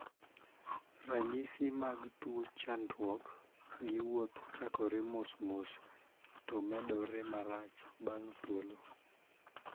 Ranyisi mag tuo chandruok gi wuoth chakore mos mos to medore marach bang' thuolo